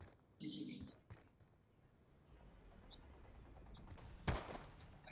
Heil borg skildi kannski eftir eina þvottasnúru og konu með klemmu.